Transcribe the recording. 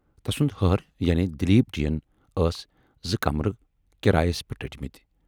تَسُند ہہر یعنے دلیٖپ جی یَن ٲس زٕ کَمرٕ کِرایس پٮ۪ٹھ رٔٹۍمِتۍ۔